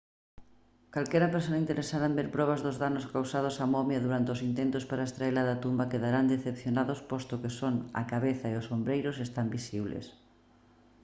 calquera persoa interesada en ver probas dos danos causados á momia durante os intentos para extraela da tumba quedarán decepcionados posto que só a cabeza e os ombreiros están visibles